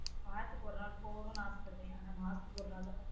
வாரத்துக்கு ஒரு நாள் போகனும் ஆசபடுவேன் ஆனா மாசத்துக்கு ஒரு நாள் தான் போவன்